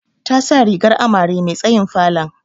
Ta sa rigar amare me tsayin falon.